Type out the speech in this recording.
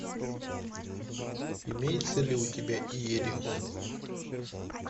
имеется ли у тебя иерихон